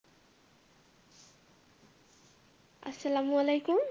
আসসালামু আলাইকুম